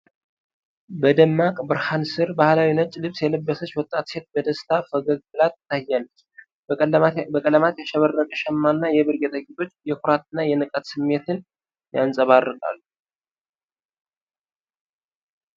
በደማቅ ብርሃን ሥር ባሕላዊ ነጭ ልብስ የለበሰች ወጣት ሴት በደስታ ፈገግ ብላ ትታያለች። በቀለማት ያሸበረቀ ሸማ እና የብር ጌጣጌጦች የኩራትና የንቃት ስሜትን ያንጸባርቃሉ።